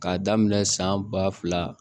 K'a daminɛ san ba fila